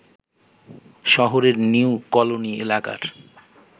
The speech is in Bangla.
শহরের নিউ কলোনি এলাকার